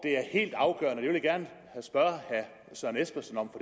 det helt afgørende vil jeg gerne spørge herre søren espersen om